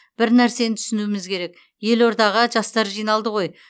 бір нәрсені түсінуіміз керек елордаға жастар жиналды ғой